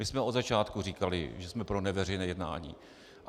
My jsme od začátku říkali, že jsme pro neveřejné jednání.